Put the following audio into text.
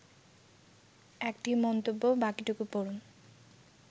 ১টি মন্তব্য বাকিটুকু পড়ুন